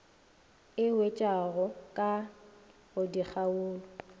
e hwetšwago ka go dikgaolo